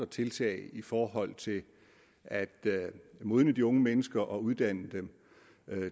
tiltag i forhold til at modne de unge mennesker og at uddanne dem